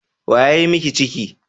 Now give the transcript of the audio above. Wa ya yi miki ciki?